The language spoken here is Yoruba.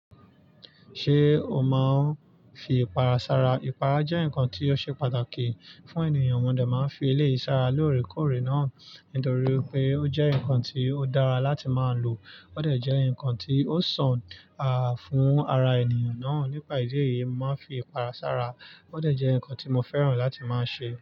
Ṣé o máa ń fi ìpara sára? Ìpara jẹ́ nǹkan tí ó ṣe pàtàkì fún ènìyàn, mọ́ o de máa ń fi eleyii sára lóorekóòré náà, nítorí wipé ó jẹ́ nǹkan tí ó dára láti máa lò, ó de jẹ́ nǹkan tí ó sàn fún ara ènìyàn náà. Nípàá ìdí èyí, màá ń fi ìpara sára, ó dà jẹ́ nǹkan tí mo fẹ́ràn láti máa ṣe.